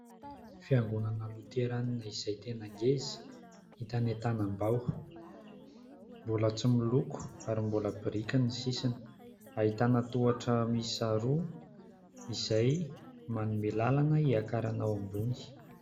Fiangonana loterana izay tena ngeza hita any Antanambao, mbola tsy miloko ary mbola biriky ny sisiny. Ahitana tohatra miisa roa izay manome lalana hiakarana ao ambony.